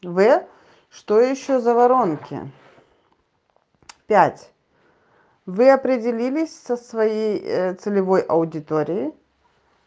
в что ещё за воронки пять вы определились со своей целевой аудиторией